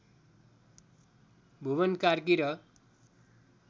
भुवन कार्की र